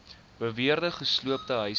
beweerde gesloopte huise